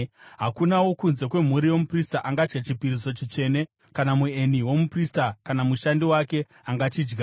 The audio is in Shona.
“ ‘Hakuna wokunze kwemhuri yomuprista angadya chipiriso chitsvene, kana mueni womuprista kana mushandi wake angachidya.